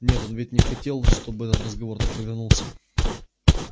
нет он ведь не хотел чтобы этот разговор так повернулся